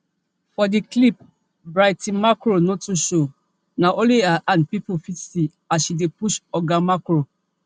for di clip brigitte macron no too show na ony her hand pipo fit see as she push oga macron